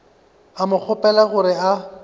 a mo kgopela gore a